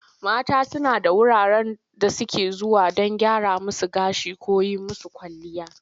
Mata suna da wurare da suke zuwa don a gyra musu gashi ko a yi musu kwalliya.